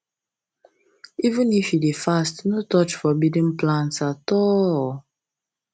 even if you dey fast no touch forbidden plants at all